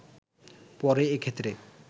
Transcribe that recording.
পরে এক্ষেত্রে